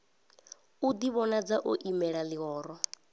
u ḓivhonadza o imelela ḽihoro